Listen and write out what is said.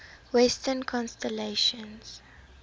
western constellations